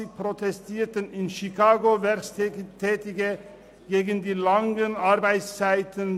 1886 protestierten in Chicago Erwerbstätige gegen die langen Arbeitszeiten.